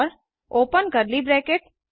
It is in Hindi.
और ओपन कर्ली ब्रैकेट